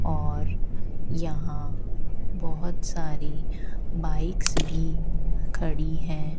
और यहां बहोत सारी बाइक्स भी खड़ी हैं।